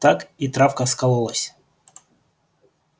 так и травка скололась